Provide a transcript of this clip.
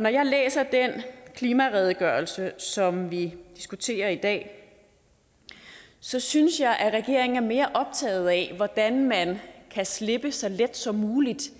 når jeg læser den klimaredegørelse som vi diskuterer i dag så synes jeg at regeringen er mere optaget af hvordan man kan slippe så let som muligt